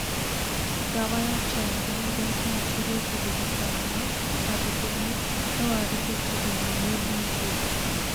Ndawa ya Tranquilizers noĩteithie kũrigita hahũ, na rithiamu nowathĩrwo kũnina mundi njũru